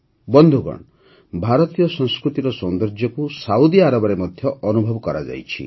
ବନ୍ଧୁଗଣ ଭାରତୀୟ ସଂସ୍କୃତିର ସୌନ୍ଦର୍ଯ୍ୟକୁ ସାଉଦି ଆରବରେ ମଧ୍ୟ ଅନୁଭବ କରାଯାଇଛି